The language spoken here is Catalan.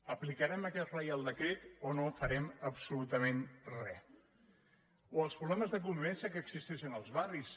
aplicarem aquest reial decret o no farem absolutament re o els problemes de convivència que existeixen als barris